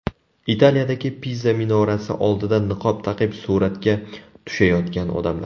Italiyadagi Piza minorasi oldida niqob taqib suratga tushayotgan odamlar.